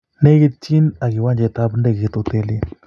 Negitchin ak kiwanjet ap ndegeit hotelit